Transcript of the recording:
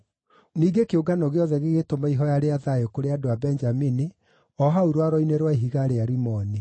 Ningĩ kĩũngano gĩothe gĩgĩtũma ihooya rĩa thayũ kũrĩ andũ a Benjamini o hau rwaro-inĩ rwa ihiga rĩa Rimoni.